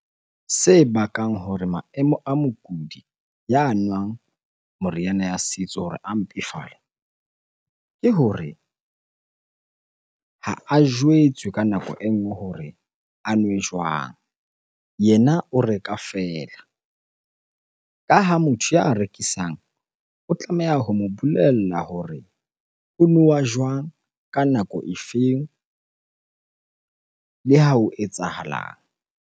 Se bakang hore maemo a mokudi ya nwang meriana ya setso hore a mpefale, ke hore ha a jwetswe ka nako e nngwe hore a nwe jwang? Yena o reka feela. Ka ha motho ya rekisang o tlameha ho mo bolella hore o nowa jwang? Ka nako e feng? Le ha ho etsahalang?